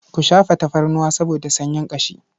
Ku shafa tafarnuwa saboda sanyin ƙashi.